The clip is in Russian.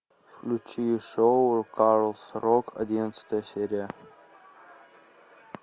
включи шоу калс рок одиннадцатая серия